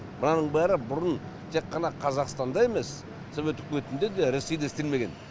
мынаның бәрі бұрын тек қана қазақстанда емес совет үкіметінде де ресейде істелмеген